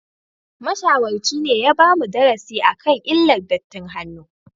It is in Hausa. Mashawarci ne ya bamu darasi akan illar dattin hannu